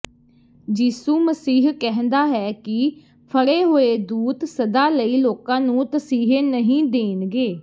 ਯਿਸੂ ਮਸੀਹ ਕਹਿੰਦਾ ਹੈ ਕਿ ਫੜੇ ਹੋਏ ਦੂਤ ਸਦਾ ਲਈ ਲੋਕਾਂ ਨੂੰ ਤਸੀਹੇ ਨਹੀਂ ਦੇਣਗੇ